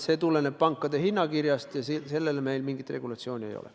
See tuleneb pankade hinnakirjast ja selle kohta meil mingit regulatsiooni ei ole.